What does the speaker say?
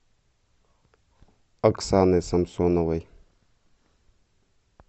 оксаны самсоновой